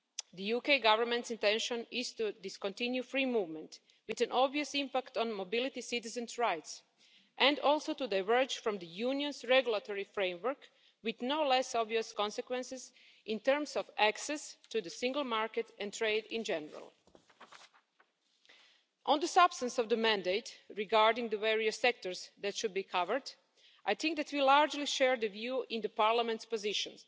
The UK Government's intention is to discontinue free movement, with an obvious impact on mobility and citizens' rights, and also to diverge from the Union's regulatory framework with no less obvious consequences in terms of access to the single market and trade in general. On the substance of the mandate, regarding the various sectors that should be covered, I think that we largely share the view in the Parliament's position,